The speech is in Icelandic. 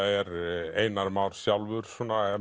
er Einar Már sjálfur